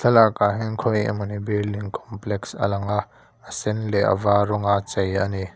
thlalak ah hian khawi emawni building complex a lang a a sen leh a var rawng a chei ani.